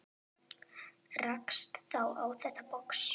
Rakst þá á þetta box.